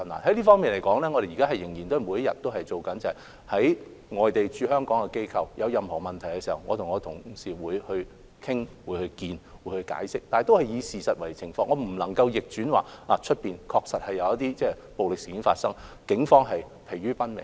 就此，我們仍然會每天下工夫，例如外地的駐港機構若有任何疑問，我和同事會與該等機構會晤、討論及作出解釋，但我們必須以事實為根據，外面確實有暴力事件發生，警方正疲於奔命。